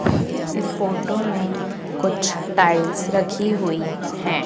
इस फोटो में कुछ टाइल्स रखी हुई है।